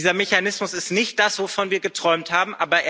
Dieser Mechanismus ist nicht das, wovon wir geträumt haben.